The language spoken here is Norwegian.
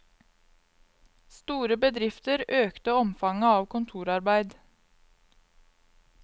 Store bedrifter økte omfanget av kontorarbeid.